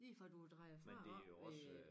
Lige fra du drejer fra oppe ved